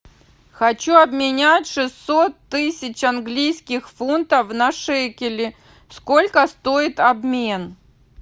хочу обменять шестьсот тысяч английских фунтов на шекели сколько стоит обмен